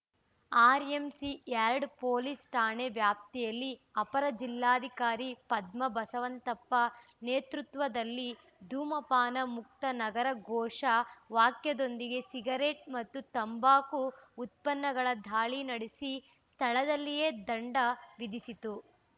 RMC yard police ಠಾಣಾ ವ್ಯಾಪ್ತಿಯಲ್ಲಿ ಅಪರ ಜಿಲ್ಲಾಧಿಕಾರಿ ಪದ್ಮ ಬಸವಂತಪ್ಪ ನೇತೃತ್ವದಲ್ಲಿ ಧೂಮಪಾನ ಮುಕ್ತ ನಗರ ಘೋಷ ವಾಕ್ಯದೊಂದಿಗೆ ಸಿಗರೇಟು ಮತ್ತು ತಂಬಾಕು ಉತ್ಪನ್ನಗಳ ದಾಳಿ ನಡೆಸಿ ಸ್ಥಳದಲ್ಲಿಯೇ ದಂಡ ವಿಧಿಸಿತು